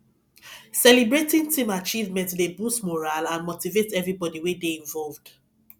celebrating team achievements dey boost morale and motivate everybody wey dey involved